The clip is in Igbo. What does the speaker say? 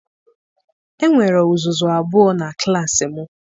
Enwere uzuzu abụọ na klaasị m.